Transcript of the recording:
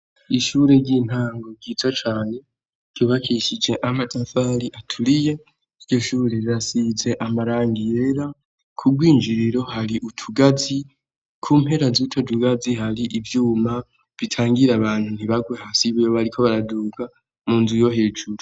Ishuri ry' intango ryiza cane ,ryubakishije amatafari aturiye, iryo shuri rirasize amarangi yera, k'ubwinjiriro hari utugazi ku mpera z'utwo tugazi hari ivyuma, bitangira abantu ntibarwe hasi iyo bariko baraduga mu nzu yo hejuru.